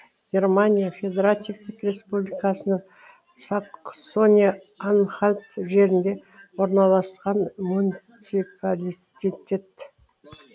германия федеративтік республикасының саксония анхальт жерінде орналасқан муниципалититет